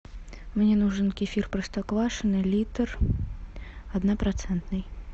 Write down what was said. мне нужен кефир простоквашино литр однопроцентный